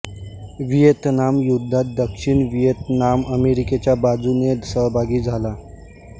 Vietnam युद्धात दक्षिण Vietnam अमेरिकेच्या बाजूने सहभागी झाला